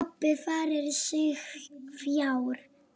Pabbi færir sig fjær.